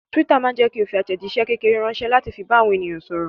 Twitter ma jẹ́kí o fi àtẹ̀jíṣé kékeré ránsẹ́ láti fi bá àwọn èèyàn sọ̀rọ̀